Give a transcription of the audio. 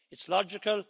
It's logical.